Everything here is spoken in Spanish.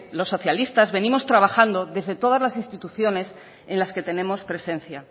los socialistas venimos trabajando desde todas las instituciones en las que tenemos presencia